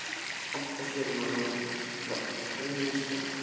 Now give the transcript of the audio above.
Oftast er hér um að ræða hreinar skattaívilnanir.